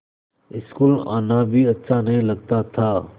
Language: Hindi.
स्कूल आना भी अच्छा नहीं लगता था